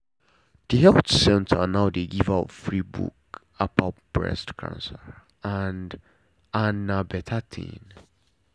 the health center now dey give out free book about breast cancer and and na better thing.